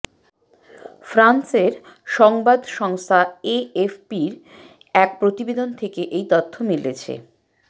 ফ্রান্সের সংবাদ সংস্থা এএফপির এক প্রতিবেদন থেকে এই তথ্য মিলেছে